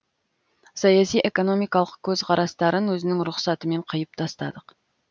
саяси экономикалық көзқарастарын өзінің рұқсатымен қиып тастадық